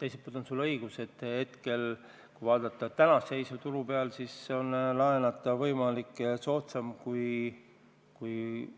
Teiselt poolt on sul õigus, et kui vaadata tänast turu seisu, siis on laenata võimalik ja see on soodsam kui